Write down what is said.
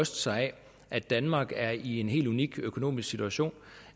sig af at danmark er i en helt unik økonomisk situation